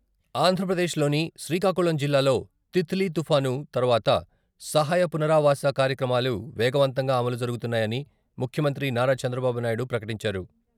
ఆంధ్రప్రదేశ్‌లోని శ్రీకాకుళం జిల్లాలో తితిలి తుపాను తర్వాత సహాయ పునరావాస కార్యక్రమాలు వేగవంతంగా అమలు జరుగుతున్నాయని ముఖ్యమంత్రి నారా చంద్రబాబు నాయుడు ప్రకటించారు.